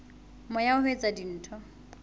moya wa ho etsa dintho